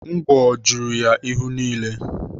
Ngwọ juru ya ihu niile.